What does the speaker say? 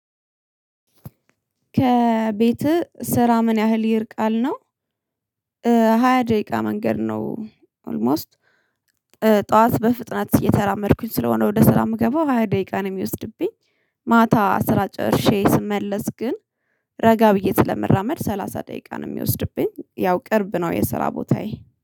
ከቤትህ ስራ ምን ያህል ይርቃል ነው? ሃያ ደቂቃ መንገድ ነው። ኦልሞስት ጠዋት በፍጥነት እየተራመድኩኝ ስለሆነ ወደ ስራ እምገባሁ ሃያ ደቂቃ ነው የሚወስድብኝ። ማታ ስራ ጨርሼ ስመለስ ግን ረጋ ብዬ ስለምራመድ ሰላሳ ደቂቃ ነው የሚወስድብኝ። ያው ቅርብ ነው የስራ ቦታዬ